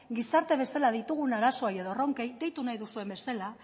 gizarte bezala ditugun arazoei edo erronkei deitu nahi duzuen bezala